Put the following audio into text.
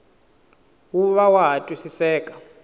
wu va wa ha twisiseka